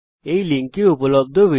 এই লিঙ্কে উপলব্ধ ভিডিওটি দেখুন